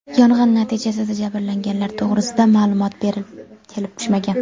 Yong‘in natijasida jabrlanganlar to‘g‘risida ma’lumot kelib tushmagan.